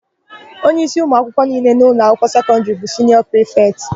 Onyeísí ụmụakwụkwọ niile n'ụlọakwụkwọ sekọndịrị bụ siniọ prịfetị.